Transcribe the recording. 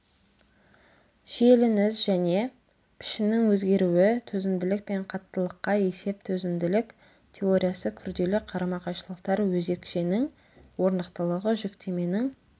шиелініс және пішіннің өзгеруі төзімділік пен қаттылыққа есеп төзімділік теориясы күрделі қарама қайшылықтар өзекшенің орнықтылығы жүктеменің